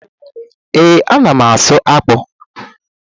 Ee, a na m ásụ́ ákpụ́